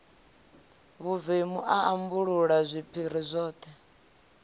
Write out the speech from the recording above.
vhuvemu a ambulula zwiphiri zwoṱhe